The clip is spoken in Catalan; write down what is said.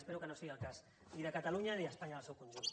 espero que no sigui el cas ni de catalunya ni d’espanya en el seu conjunt